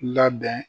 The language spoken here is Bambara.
Labɛn